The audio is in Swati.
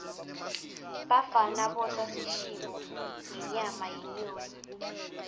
bafana bosa bashibe ngenyama yenyoni